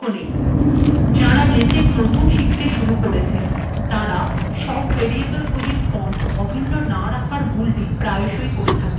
যারা লেটেক শিখতে শুরু করেছেন তাঁরা প্রায়শই সব ভ্যারিয়েবলের ফন্ট অভিন্ন না রাখার ভুলটি করে থাকেন